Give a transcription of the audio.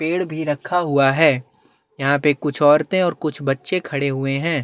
पेड़ भी रखा हुआ है यहाँ पे कुछ औरते ओर कुछ बच्चे खड़े हुए है।